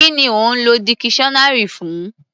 Kí ni ò ń lọ dikiṣọ́nárì fún?